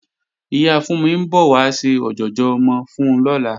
Ìyá Fúnmi ń bọ̀ wá ṣe ọ̀jọ̀jọ̀ ọmọ fún lọ́la